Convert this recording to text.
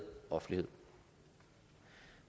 offentlighed